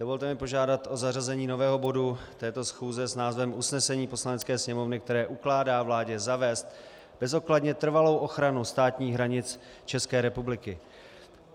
Dovolte mi požádat o zařazení nového bodu této schůze s názvem Usnesení Poslanecké sněmovny, které ukládá vládě zavést bezodkladně trvalou ochranu státních hranic České republiky.